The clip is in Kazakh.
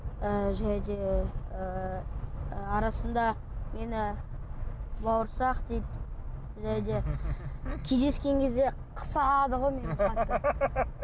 ыыы және де ы арасында мені бауырсақ дейді және де кездескен кезде қысады ғой мені қатты